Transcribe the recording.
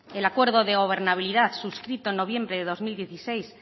el acuerdo de gobernabilidad suscrito en noviembre de dos mil dieciséis